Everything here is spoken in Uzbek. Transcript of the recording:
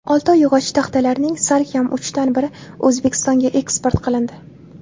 Oltoy yog‘och-taxtalarining salkam uchdan biri O‘zbekistonga eksport qilindi.